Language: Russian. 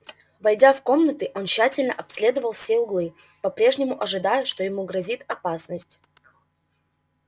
войдя в комнаты он тщательно обследовал все углы по прежнему ожидая что ему грозит опасность